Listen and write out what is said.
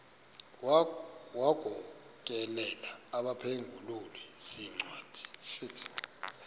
wagokelela abaphengululi zincwadi